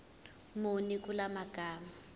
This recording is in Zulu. muni kula magama